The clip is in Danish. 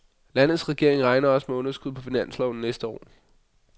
Landets regering regner også med underskud på finansloven næste år.